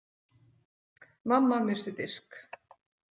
Mamma missti disk.